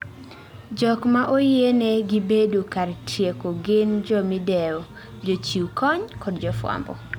Jok ma oyiene gi bedo kar tieko gin jomidewo, jochiw kony, kod jofwambo